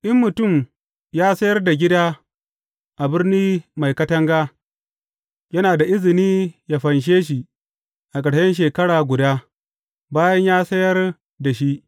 In mutum ya sayar da gida a birni mai katanga, yana da izini yă fanshe shi a ƙarshen shekara guda, bayan ya sayar da shi.